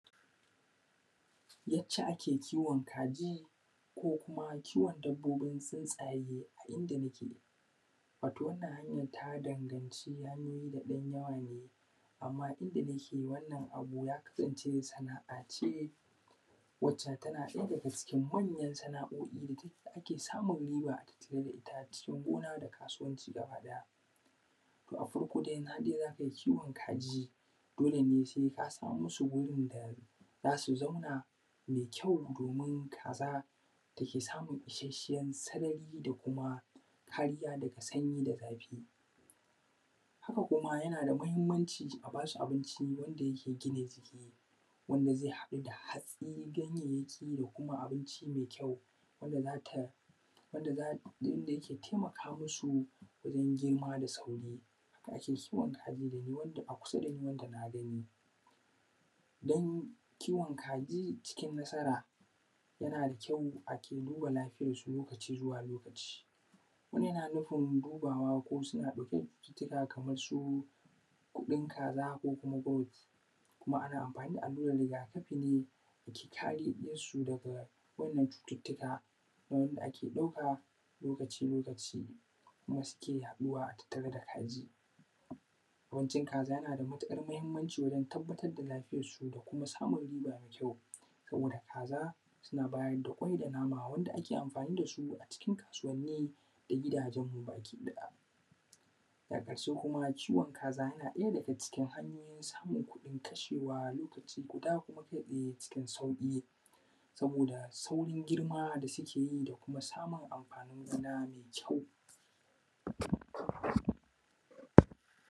Yadda ake kiwon kaji ko kuma dabbobin tsintsaye a inda muke wato wannan hanyan ta danganci hanyoyi da ɗan yawa ne, amma dunka wannan abu ya kasance sana’a ne wanda tana ɗaya daga cikin manyan sana’oi wanda ake samun riba sosai, a gona da kuma kasuwanci gabaɗaya. Na farko har dai za kai kiwon kaji dole ne sai ka saman musu wurin da za su zauna mai kyau domin kaza ta sani isashshen sarari da kuma kariya daga sanyi da zafi. Haka kuma yana da mahinmanci aba shi abinci wanda yake gina jiki wanda zai haɗu da hatsi, ganyanyaki da kuma abinci mai kyau wanda yake taimaka musu wajen girma da sauri. Haka ake kiwon kaji wanda a kusa da ni na gani duk kiwon kaji cikin nasara yana da kyau duba lafiyansu lokaci zuwa lokaci yana nufin duba ko suna ɗauke da cututtuka Kaman su huɗun kaza ko kuma bawali, kuma ana anfani da rigakafi ne ke kare su daga wannan cututtuka wanda ake ɗauaka lokaci bayan lokaci kuma suke yaɗuwa a tattare da kaji, wajen kaza yana da matuƙar mahinmanci wajen tabbatar da lafiyansu da kuma samun riba mai kyau sabo da kaza suna bada kwai da nama wanda ake amfani da su a cikin kasuwan nan da giudajenmu bakiɗaya, daga ƙarshe kiwon kaza kuma yana daga cikin hanyoyin samun kuɗin kashewa lokaci guda kuɗaɗe cikin sauƙi saboda saurin girma da suke yi da samun amfanin gida mai kyau.